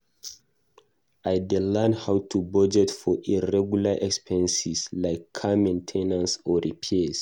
I dey learn how to budget for irregular expenses like car main ten ance or repairs.